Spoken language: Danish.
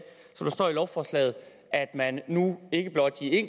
som der står i lovforslaget at man nu ikke blot